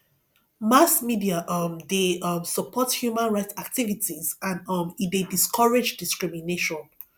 mass media um de um support human right activities and um e de discourage discrimination